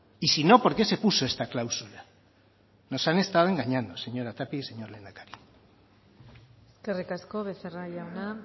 y sino por qué se puso esta cláusula nos han estado engañando señora tapia y señor lehendakari eskerrik asko becerra jauna